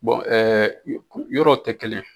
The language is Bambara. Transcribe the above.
komi yɔrɔw tɛ kelen.